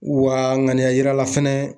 Wa ŋaniya yira la fɛnɛ